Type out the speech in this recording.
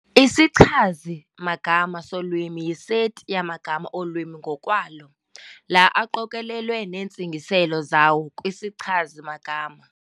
Isichazi-magama solwimi yiseti yamagama olwimi ngokwalo- la aqokelelwa neentsingiselo zawo kwisichazi-magama.